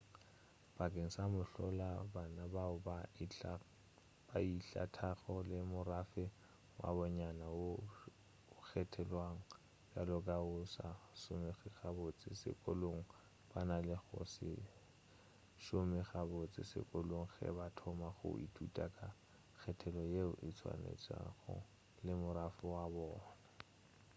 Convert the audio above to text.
bakeng sa mohlala bana bao ba ihlathago le morafe wa bonnyane woo o kgethollwago bjalo ka wo o sa šomego gabotse sekolong ba na le go se šome gabotse sekolong ge ba thoma go ithuta ka kgethollo yeo e tswalwantšhwago le morafe wa bona